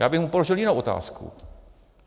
Já bych mu položil jinou otázku.